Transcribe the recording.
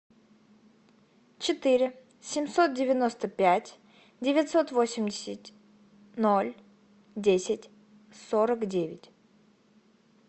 четыре семьсот девяносто пять девятьсот восемьдесят ноль десять сорок девять